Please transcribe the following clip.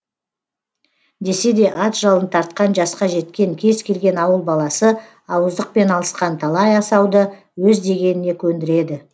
десе де ат жалын тартқан жасқа жеткен кез келген ауыл баласы ауыздықпен алысқан талай асауды өз дегеніне көндіреді